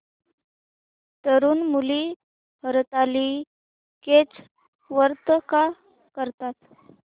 तरुण मुली हरतालिकेचं व्रत का करतात